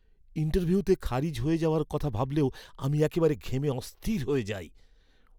ইন্টারভিউতে খারিজ হয়ে যাওয়ার কথা ভাবলেও আমি একেবারে ঘেমে অস্থির হয়ে যাই।